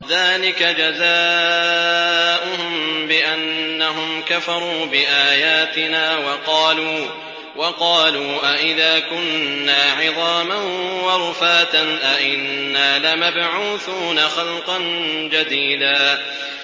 ذَٰلِكَ جَزَاؤُهُم بِأَنَّهُمْ كَفَرُوا بِآيَاتِنَا وَقَالُوا أَإِذَا كُنَّا عِظَامًا وَرُفَاتًا أَإِنَّا لَمَبْعُوثُونَ خَلْقًا جَدِيدًا